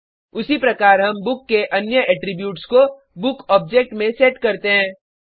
उसी प्रकार हम बुक के अन्य एट्रीब्यूट्स को बुक ऑब्जेक्ट में सेट करते हैं